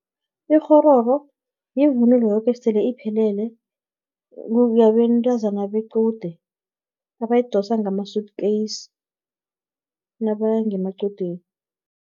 Ikghororo, yivunulo yoke sele iphelele, yabentazana bequde, abayidosa ngama-suit case, nabaya ngemaqudeni.